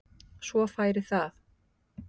Svo færi það.